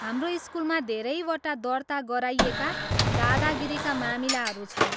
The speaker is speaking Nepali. हाम्रो स्कुलमा धेरैवटा दर्ता गराइएका दादागिरीका मामिलाहरू छन्।